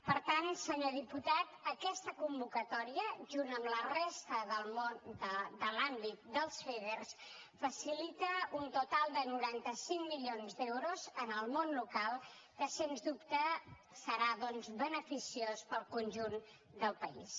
per tant senyor diputat aquesta convocatòria junt amb la resta de l’àmbit dels feder facilita un total de noranta cinc milions d’euros en el món local que sens dubte serà doncs beneficiós per al conjunt del país